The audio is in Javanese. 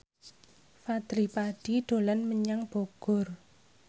Fadly Padi dolan menyang Bogor